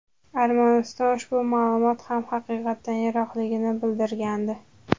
Armaniston ushbu ma’lumot ham haqiqatdan yiroqligini bildirgandi.